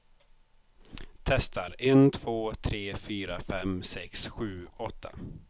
Testar en två tre fyra fem sex sju åtta.